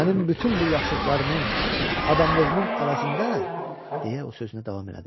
Mənim bütün bu yaxşılıqlarımın, adamlığımın əvəzində, deyə o sözünə davam elədi.